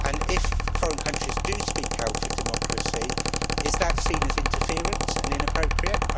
If foreign countries do speak out for democracy, is that seen as interference and inappropriate?